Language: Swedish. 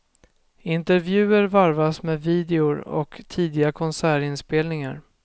Intervjuer varvas med videor och tidiga konsertinspelningar.